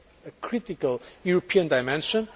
a critical European dimension.